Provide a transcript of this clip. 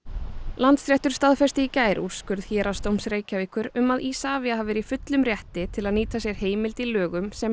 Landsréttur staðfesti í gær úrskurð Héraðsdóms Reykjavíkur um að Isavia hafi verið í fullum rétti til að nýta sér heimild í lögum sem